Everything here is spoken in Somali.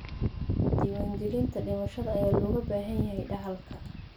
Diiwaangelinta dhimashada ayaa looga baahan yahay dhaxalka.